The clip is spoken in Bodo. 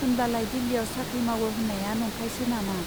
होनब्लालाय दिल्लीयाव साख्रि मावो होन्नाया नंखायसो नामा ?